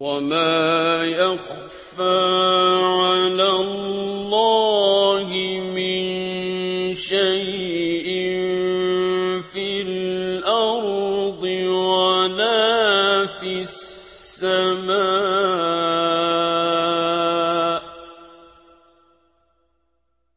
وَمَا يَخْفَىٰ عَلَى اللَّهِ مِن شَيْءٍ فِي الْأَرْضِ وَلَا فِي السَّمَاءِ